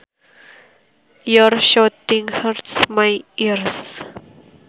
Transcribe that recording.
Your shouting hurts my ears